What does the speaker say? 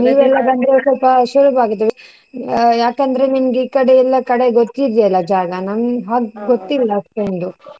ಸ್ವಲ್ಪ ಸುಲ್ಬ ಆಗೋದು ಯಾಕಂದ್ರೆ ನಿಮ್ಗೆ ಈ ಕಡೆಯೆಲ್ಲ ಕಡೆ ಗೊತ್ತಿದೆ ಅಲಾ ಜಾಗ ನಮ್ಗ್ ಗೊತ್ತಿಲ್ಲ ಅಷ್ಟೊಂದು.